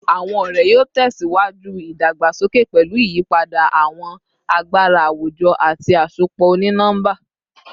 Awọn ọrẹ yoo tẹsiwaju idagbasoke pẹlu iyipada awọn agbara awujọ ati asopọ oni-nọmba